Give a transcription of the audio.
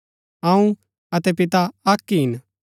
अऊँ अतै पिता अक्क ही हिन